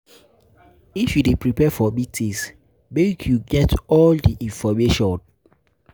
If you dey prepare for meetings, make you get all di information.